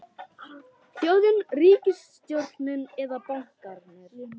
Þjóðin, ríkisstjórnin eða bankarnir?